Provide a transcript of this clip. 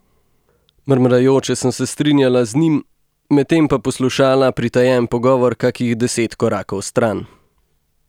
Mrmrajoče sem se strinjala z njim, medtem pa poslušala pritajen pogovor kakih deset korakov stran.